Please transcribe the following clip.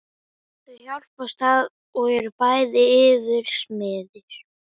Þau hjálpast að og eru bæði yfirsmiðir.